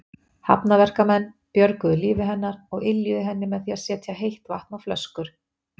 Hafnarverkamenn björguðu lífi hennar og yljuðu henni með því að setja heitt vatn á flöskur.